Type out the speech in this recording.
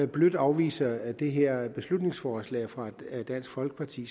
blødt afviser det her beslutningsforslag fra dansk folkeparti